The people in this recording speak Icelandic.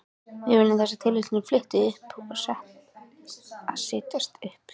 Við þessa tilhugsun flýtti hún sér að setjast upp.